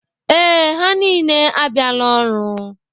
Ee, ha niile abịala ọrụ.